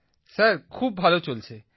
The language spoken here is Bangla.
প্রদীপজি স্যার খুব ভালো চলছে